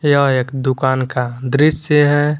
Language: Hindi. यह एक दुकान का दृश्य है।